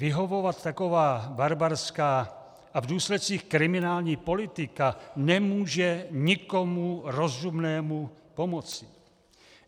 Vyhovovat taková barbarská a v důsledcích kriminální politika nemůže nikomu rozumnému pomoci.